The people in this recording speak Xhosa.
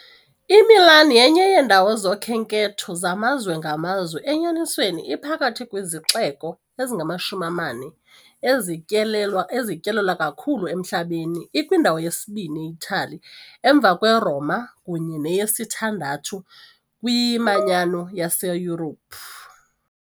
IMilan yenye yeendawo zokhenketho zamazwe ngamazwe, enyanisweni iphakathi kwezixeko ezingamashumi amane ezityelelwa ezityelelwa kakhulu emhlabeni, ikwindawo yesibini e- Itali emva kweRoma kunye neyesithandathu kwiManyano yaseYurophu .